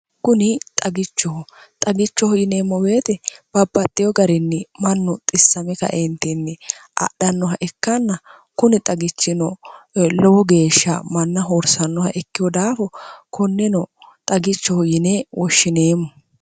kuni xagichoho xagichoho yineemmo weeti babbaxxyo garinni mannu xissame kaentinni adhannoha ikkanna kuni xagichino lowo geeshsha manna hoorsannoha ikkihu daafo konneno xagichoho yine woshshineemmo